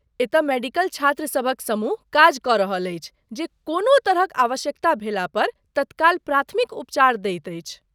एतय मेडिकल छात्रसभक समूह काज कऽ रहल अछि जे कोनो तरहक आवश्यकता भेला पर तत्काल प्राथमिक उपचार दैत अछि।